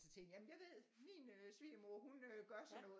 Så tænkte jeg jamen jeg ved min svigermor hun gør sådan noget